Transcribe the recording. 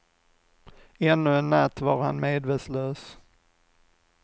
Ännu i natt var han medvetslös.